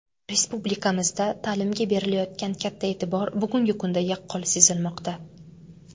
Respublikamizda ta’limga berilayotgan katta e’tibor bugungi kunda yaqqol sezilmoqda.